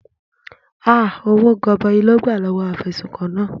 Ahh!! Owó gọbọi ló gbà lọ́wọ́ afẹ̀sùnkàn náà.